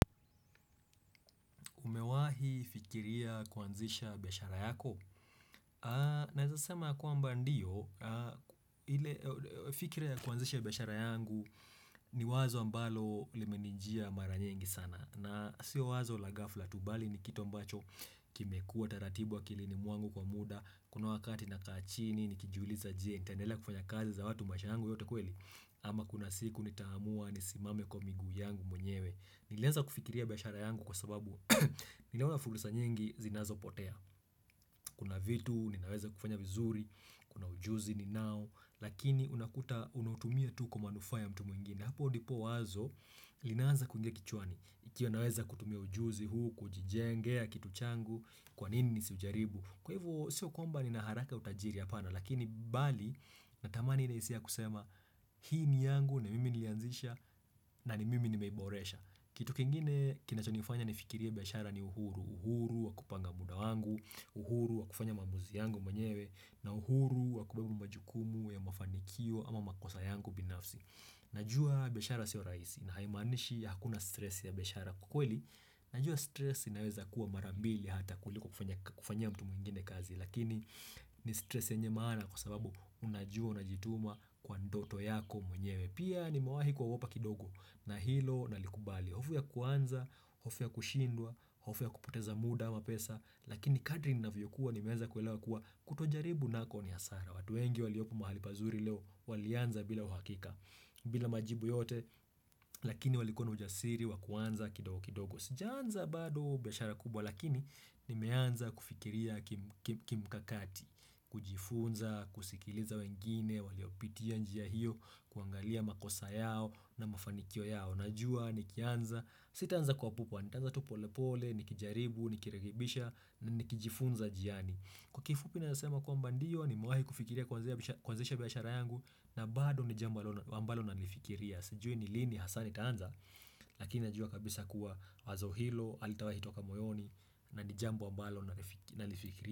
Umewahi fikiria kuanzisha biashara yako? Nawezasema kwamba ndiyo, fikiria kuanzisha biashara yangu ni wazo ambalo limenijia mara nyingi sana. Na siyo wazo la ghafla tubali ni kitu ambacho kimekuwa taratibu wa akilini mwangu kwa muda. Kuna wakati nakaa chini, nikijuliza je, nitandelea kufanya kazi za watu maisha yangu yote kweli. Ama kuna siku nitamua, nisimame kwa miguu yangu mwenyewe. Nilianza kufikiria biashara yangu kwa sababu niliona fursa nyingi zinazo potea Kuna vitu, nimeweza kufanya vizuri, kuna ujuzi ninao Lakini unakuta unautumia tu kwa manufaa ya mtu mwingine Hapo ndipo wazo, ninaanza kuingia kichwani Ikiwa naweza kutumia ujuzi huu, kujijengea, kitu changu, kwanini nisiujaribu Kwa hivo, sio kwamba nina haraka utajiri hapana Lakini bali, natamani nina hisia ya kusema Hii ni yangu, ni mimi ni lianzisha, na ni mimi ni meiboresha Kitu kingine kinachonifanya nifikirie biashara ni uhuru, uhuru wakupanga muda wangu, uhuru wakufanya maamuzi yangu mwenyewe, na uhuru wakubeba majukumu ya mafanikio ama makosa yangu binafsi. Najua biashara siwa rahisi na haimanishi ya hakuna stress ya biashara kwa kweli. Najua stress inaweza kuwa marambili hata kuliko kufanyia mtu mwingine kazi. Lakini ni stress yenye maana kwa sababu unajua unajituma kwa ndoto yako mwenyewe Pia nimewahi kuogopa kidogo na hilo nalikubali hofu ya kuanza, hofu ya kushindwa, hofu ya kupoteza muda mapesa Lakini kadri ninafyokuwa nimeanza kuelewa kuwa kutojaribu nako ni hasara Watuengi waliopo mahali pazuri leo walianza bila uhakika bila majibu yote lakini walikuwa na ujasiri wakuanza kidogo kidogo sijaanza bado biashara kubwa lakini nimeanza kufikiria kimkakati, kujifunza, kusikiliza wengine, waliopitia njia hiyo, kuangalia makosa yao na mafanikio yao. Najua nikianza, sitanza kwa pupu, nitaanza tupolepole, nikijaribu, nikirekebisha, nikijifunza njiani. Kwa kifupi naweza sema kwamba ndiyo, nimewahi kufikiria kwanzeisha biashara yangu na bado ni jambo amabalo nalifikiria. Sijui ni lini has nitaanza lakini najua kabisa kuwa wazo hilo halitawai toka moyoni na nijambo wa ambalo na nalifikiria.